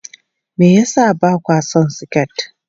Me yasa ba kwa son siket?